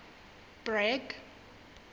bragg